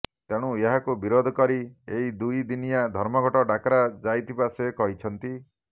ତେଣୁ ଏହାକୁ ବିରୋଧ କରି ଏହି ଦୁଇ ଦିନିଆ ଧର୍ମଘଟ ଡାକରା ଯାଇଥିବା ସେ କହିଛନ୍ତି